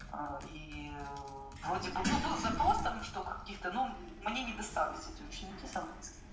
и вроде бы ну был запрос там что каких-то ну мне не достались эти ученики с английским